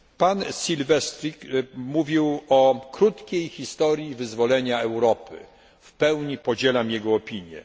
Pan Silvestris mówił o krótkiej historii wyzwolenia Europy, w pełni podzielam jego opinię.